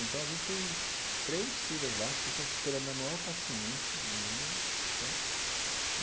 Então, às vezes, tem três filas lá, as pessoas esperando na maior paciência do mundo, certo?